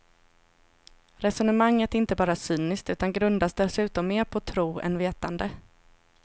Resongemanget är inte bara cyniskt, utan grundas dessutom mer på tro än vetande.